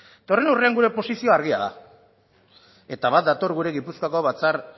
eta horren aurrean gure posizioa argia da eta bat dator gure gipuzkoako batzar